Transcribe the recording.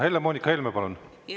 Helle-Moonika Helme, palun!